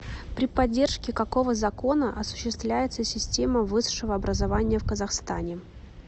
при поддержке какого закона осуществляется система высшего образования в казахстане